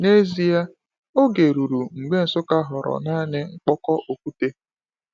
N’ezie, oge ruru mgbe Nsukka ghọrọ naanị mkpokọ okwute.